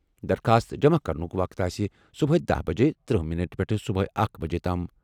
درخواست جمع کرنُک وقت آسہِ صبحٲے دہَ بجے تٔرہ مِننٹھ پٮ۪ٹھ صبحٲے اکھ بجے تام۔